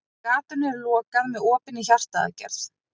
Gatinu er lokað með opinni hjartaaðgerð.